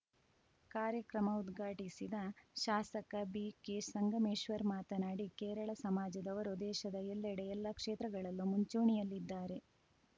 ಕಾರ್ಯಕ್ರಮ ಉದ್ಘಾಟಿಸಿದ ಶಾಸಕ ಬಿಕೆ ಸಂಗಮೇಶ್ವರ್‌ ಮಾತನಾಡಿ ಕೇರಳ ಸಮಾಜದವರು ದೇಶದ ಎಲ್ಲೆಡೆ ಎಲ್ಲ ಕ್ಷೇತ್ರಗಳಲ್ಲೂ ಮುಂಚೂಣಿಯಲ್ಲಿದ್ದಾರೆ